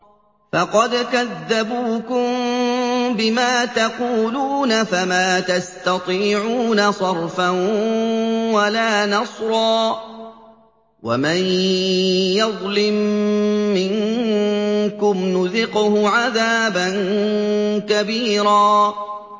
فَقَدْ كَذَّبُوكُم بِمَا تَقُولُونَ فَمَا تَسْتَطِيعُونَ صَرْفًا وَلَا نَصْرًا ۚ وَمَن يَظْلِم مِّنكُمْ نُذِقْهُ عَذَابًا كَبِيرًا